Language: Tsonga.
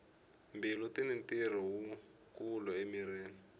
mbilu tini ntirho wu kulu emirhini